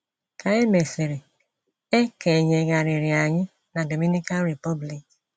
Ka e mesịrị, e kenyeghariri anyị na Dominican Republic.